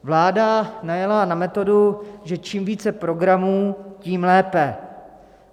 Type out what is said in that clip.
Vláda najela na metodu, že čím více programů, tím lépe.